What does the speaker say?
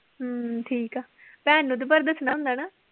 ਹਮ ਠੀਕ ਆ ਭੈਣ ਨੂੰ ਤਾਂ ਪਰ ਦੱਸਣਾ ਹੁੰਦਾ ਨਾ।